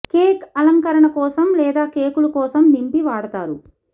cake అలంకరణ కోసం లేదా కేకులు కోసం నింపి వాడతారు